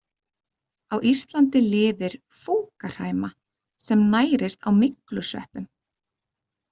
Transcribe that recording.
Á Íslandi lifir fúkahræma sem nærist á myglusveppum.